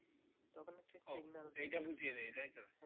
ওহ এটা বুঝিয়ে দেই তাই তো